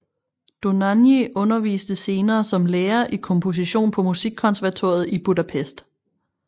Dohnányi underviste senere som lærer i komposition på Musikkonservatoriet i Budapest